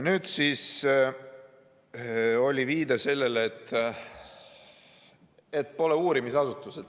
Nüüd oli viide sellele, et pole uurimisasutus.